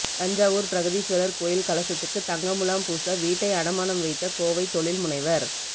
தஞ்சாவூர் பிரகதீஸ்வரர் கோயில் கலசத்துக்கு தங்க முலாம் பூச வீட்டை அடமானம் வைத்த கோவை தொழில்முனைவர்